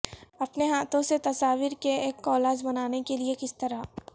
اپنے ہاتھوں سے تصاویر کے ایک کالج بنانے کے لئے کس طرح